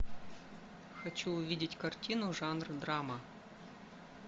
хочу увидеть картину жанр драма